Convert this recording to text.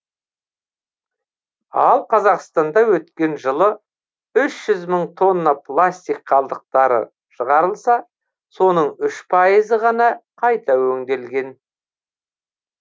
ал қазақстанда өткен жылы үш жүз мың тонна пластик қалдықтары шығарылса соның үш пайызы ғана қайта өңделген